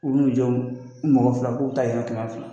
U b'u n'u jo, u mɔgɔ fila k'u ta yan kɛmɛ fila